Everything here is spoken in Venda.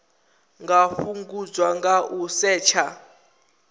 nga fhungudzwa nga u setsha